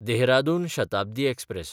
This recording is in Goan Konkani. देहरादून शताब्दी एक्सप्रॅस